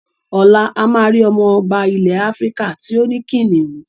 Ọ̀la a máa rí ọmọba ilẹ̀ Áfíríkà tí ó ní kìnnìún?